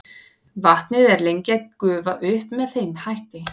vatnið er lengi að gufa upp með þeim hætti